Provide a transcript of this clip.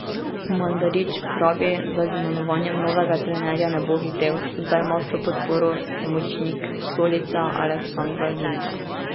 Mandarić pravi, da z imenovanjem novega trenerja ne bo hitel, zdaj ima vso podporo pomočnik Stolice Aleksandar Linta.